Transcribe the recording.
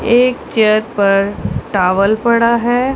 एक चेयर पर टावल पड़ा है।